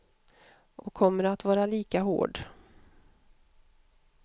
Och kommer att vara lika hård.